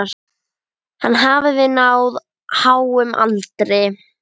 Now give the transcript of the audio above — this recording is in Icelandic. Hann hafði náð háum aldri.